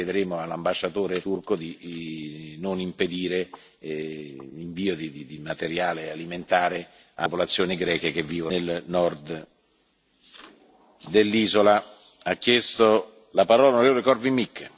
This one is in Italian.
La prego di far avere al mio Gabinetto tutte le informazioni necessarie e poi chiederemo all'ambasciatore turco di non impedire l'invio di materiale alimentare alle popolazioni greche che vivono nel nord dell'isola.